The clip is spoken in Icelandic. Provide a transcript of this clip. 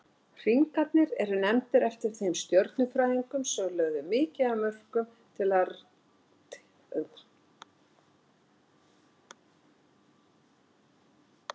Hringarnir eru nefndir eftir þeim stjörnufræðingum sem lögðu mikið af mörkum til rannsókna á Neptúnusi.